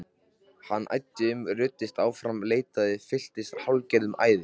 Hann æddi um, ruddist áfram, leitaði, fylltist hálfgerðu æði.